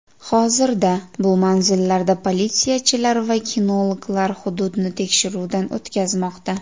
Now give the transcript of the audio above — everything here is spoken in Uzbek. Hozirda bu manzillarda politsiyachilar va kinologlar hududni tekshiruvdan o‘tkazmoqda.